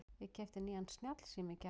Ég keypti nýjan snjallsíma í gær.